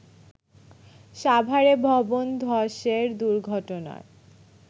সাভারে ভবন ধসের দুর্ঘটনার